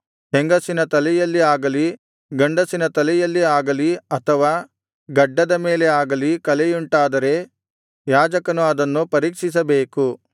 ಹೆಂಗಸಿನ ತಲೆಯಲ್ಲಿ ಆಗಲಿ ಗಂಡಸಿನ ತಲೆಯಲ್ಲಿ ಆಗಲಿ ಅಥವಾ ಗಡ್ಡದ ಮೇಲೆ ಆಗಲಿ ಕಲೆಯುಂಟಾದರೆ ಯಾಜಕನು ಅದನ್ನು ಪರೀಕ್ಷಿಸಬೇಕು